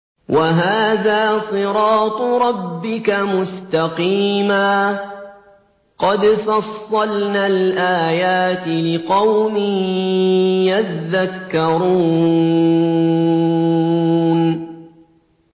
وَهَٰذَا صِرَاطُ رَبِّكَ مُسْتَقِيمًا ۗ قَدْ فَصَّلْنَا الْآيَاتِ لِقَوْمٍ يَذَّكَّرُونَ